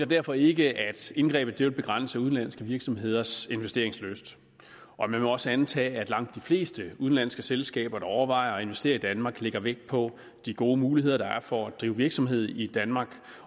derfor ikke at indgrebet vil begrænse udenlandske virksomheders investeringslyst man må også antage at langt de fleste udenlandske selskaber der overvejer at investere i danmark lægger vægt på de gode muligheder der er for at drive virksomhed i danmark